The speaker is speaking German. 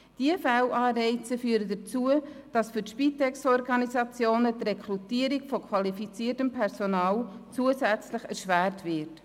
Diese Fehlanreize führen dazu, dass die Rekrutierung von qualifiziertem Personal für die Spitex-Organisationen zusätzlich erschwert wird.